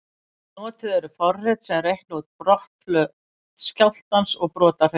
Notuð eru forrit sem reikna út brotflöt skjálftans og brotahreyfingu.